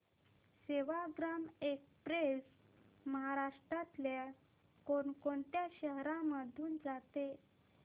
Sevagram express महाराष्ट्रातल्या कोण कोणत्या शहरांमधून जाते